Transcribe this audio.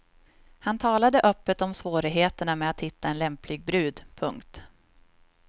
Han talade öppet om svårigheterna med att hitta en lämplig brud. punkt